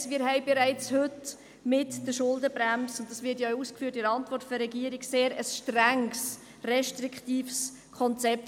: Wir haben bereits heute mit der Schuldenbremse – dies wird in der Antwort der Regierung ausgeführt – ein sehr strenges, restriktives Konzept.